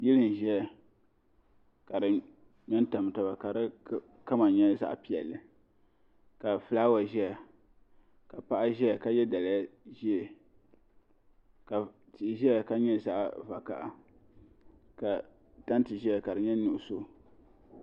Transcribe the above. Yili n zaya ka di ŋmɛ n tam taba ka di kama nyɛ zaɣi piɛlli ka flawa zaya ka paɣa zɛya ka ye daliya zɛɛ ka tia zaya ka nyɛ zaɣi vakaha ka tantɛ ziya ka di nyɛ nuɣiso.